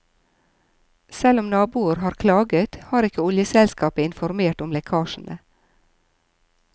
Selv om naboer har klaget har ikke oljeselskapet informert om lekkasjene.